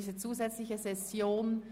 8.e Häusliche Gewalt